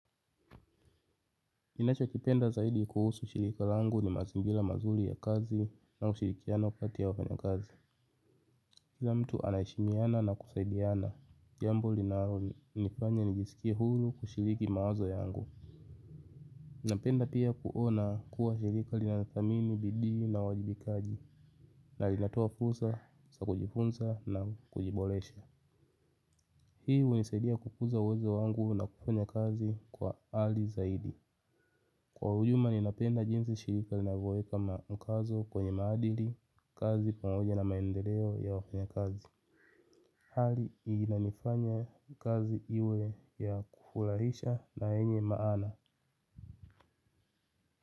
Ninacho kipenda zaidi kuhusu shirika langu ni mazingira mazuri ya kazi na ushirikiano kati ya wafanya kazi. Kila mtu anaheshimiana na kusaidiana. Jambo linalo nifanya nijisikie huru kushiriki mawazo yangu. Napenda pia kuona kuwa shirika linathamini, bidii na uwajibikaji. Na linatoa fursa za kujifunza na kujiboresha. Hii hunisaidia kukuza uwezo wangu na kufanya kazi kwa ari zaidi. Kwa ujumla ninapenda jinsi shirika linavoweka mkazo kwenye maadili, kazi pamoja na maendeleo ya wafanya kazi. Hali hii inanifanya kazi iwe ya kufurahisha na yenye maana.